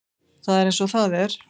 Það er eins og það er.